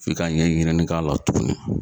F'i ka ɲɛɲinini k'a la tuguni.